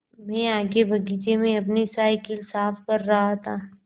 मैं आगे बगीचे में अपनी साईकिल साफ़ कर रहा था